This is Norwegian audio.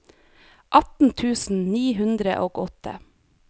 atten tusen ni hundre og åtte